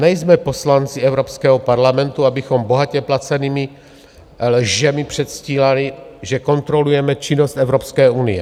Nejsme poslanci Evropského parlamentu, abychom bohatě placenými lžemi předstírali, že kontrolujeme činnost Evropské unie.